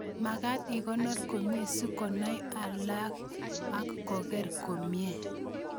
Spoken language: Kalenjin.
Magat ikonor komie si konai alaik ak koker komie